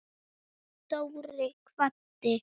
Dóri kvaddi.